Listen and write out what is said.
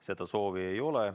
Seda soovi ei ole.